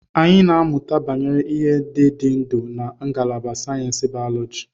Ị na-amụta banyere ihe ndị dị ndụ na ngalaba sayensị bayoloji.